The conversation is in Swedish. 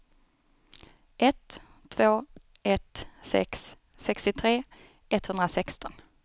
ett två ett sex sextiotre etthundrasexton